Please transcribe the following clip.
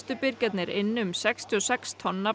birgjarnir inn um sextíu og sex tonn af